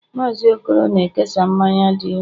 Mazị okoro na-ekesa mmanya dị nro